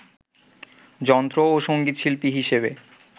যন্ত্র ও সঙ্গীতশিল্পী হিসেবে